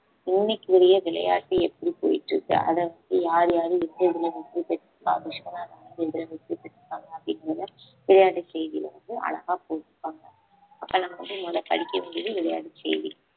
இன்னைக்குரிய விளையாட்டு எப்படி போயிட்டு இருக்கு அதை யார் யாரு எந்த இதுல வெற்றி பேற்றுக்காருன்னா விஸ்வநாதன் வந்து எதுல வெற்றி பெற்றுருக்காங்க அப்பிடிங்கறத விளையாட்டு செய்தில வந்து அழகா போட்டிருக்காங்க அப்போ நம்ம வந்து முத படிக்கவேண்டியது விளையாட்டு செய்தி